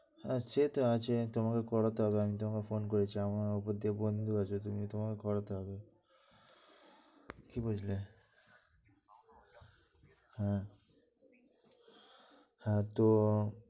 সে তো আছে, তোমাকে করাতে হবে আমি তোমাকে phone করেছি, আমি ওদেরকে বলে দেব, তুমি তোমার করাতে হবে। কি বুঝলে অ্যাঁ এতো